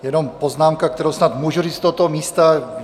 Jenom poznámka, kterou snad můžu říct z tohoto místa.